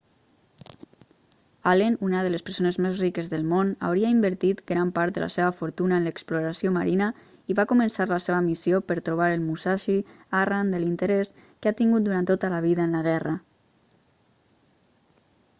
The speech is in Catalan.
allen una de les persones més riques del món hauria invertit gran part de la seva fortuna en l'exploració marina i va començar la seva missió per trobar el musashi arran de l'interès que ha tingut durant tota la vida en la guerra